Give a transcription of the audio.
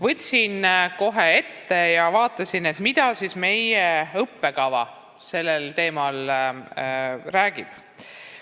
Võtsin kohe ette ja vaatasin, mida siis meie õppekava sellel teemal räägib.